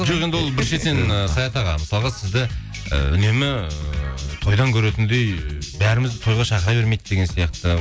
жоқ енді ол бір шетінен ыыы саят аға мысалға сізді і үнемі тойдан көретіндей бәрімізді тойға шақыра бермейді деген сияқты